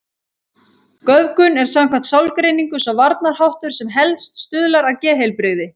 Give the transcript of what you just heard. Göfgun er samkvæmt sálgreiningu sá varnarháttur sem helst stuðlar að geðheilbrigði.